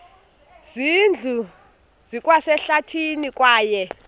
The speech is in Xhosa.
zindlu zikwasehlathini kwaye